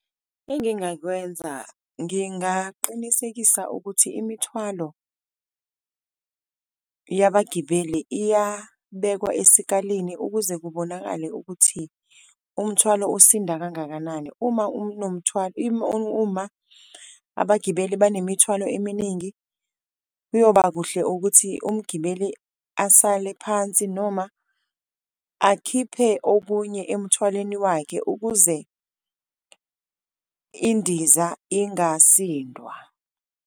Engingakwenza ngingaqinisekisa ukuthi imithwalo yabagibeli iyabekwa esikalini ukuze kubonakale ukuthi umthwalo usinda kangakanani uma , uma abagibeli banemithwalo eminingi. Kuyoba kuhle ukuthi umgibeli asale phansi noma akhiphe okunye emthwaleni wakhe, ukuze indiza ingasindwa.